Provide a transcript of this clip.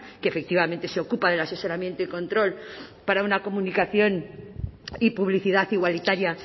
que efectivamente se ocupa del asesoramiento y control para una comunicación y publicidad igualitaria